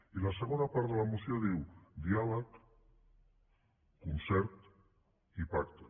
i la segona part de la moció diu diàleg concert i pacte